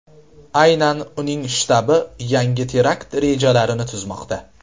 Aynan uning shtabi yangi terakt rejalarini tuzmoqda.